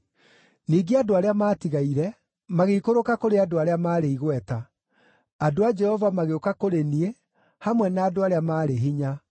“Ningĩ andũ arĩa maatigaire, magĩikũrũka kũrĩ andũ arĩa maarĩ igweta; andũ a Jehova magĩũka kũrĩ niĩ hamwe na andũ arĩa maarĩ hinya.